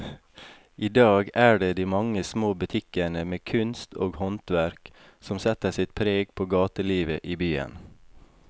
I dag er det de mange små butikkene med kunst og håndverk som setter sitt preg på gatelivet i byen.